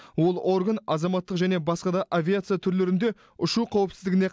ол орган азаматтық және басқа да авиация түрлерінде ұшу қауіпсіздігіне